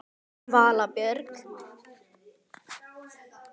Þín Vala Björg.